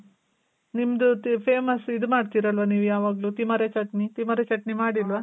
ನಿಮ್ದು famous ಇದು ಮಾಡ್ತೀರಲ್ವ ನೀವು ಯಾವಾಗ್ಲೂ. ತಿಮಾರೆ ಚಟ್ನಿ, ತಿಮಾರೆ ಚಟ್ನಿ ಮಾಡಿಲ್ವ?